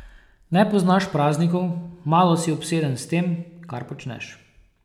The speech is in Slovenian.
Ne poznaš praznikov, malo si obseden s tem, kar počneš.